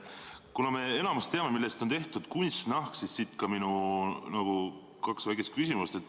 Kuna me enamik teame, millest on tehtud kunstnahk, siis siit ka minu kaks väikest küsimust.